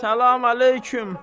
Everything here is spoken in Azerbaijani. Salam əleyküm.